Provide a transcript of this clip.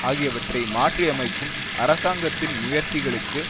ஆகியவற்றை மாற்றியமைக்கும் அரசாங்கத்தின் முயற்சிகளுக்கு